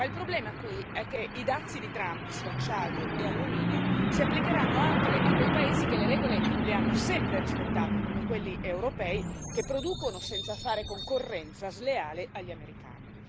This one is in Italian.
Ma il problema, qui, è che i dazi di Trump su acciaio e alluminio si applicheranno anche a quei paesi che le regole le hanno sempre rispettate, come quelli europei che producono senza fare concorrenza sleale agli americani.